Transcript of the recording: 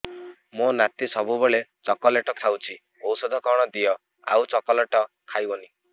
ମୋ ନାତି ସବୁବେଳେ ଚକଲେଟ ଖାଉଛି ଔଷଧ କଣ ଦିଅ ଆଉ ଚକଲେଟ ଖାଇବନି